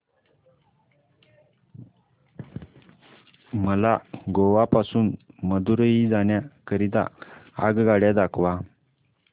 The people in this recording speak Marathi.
मला गोवा पासून मदुरई जाण्या करीता आगगाड्या दाखवा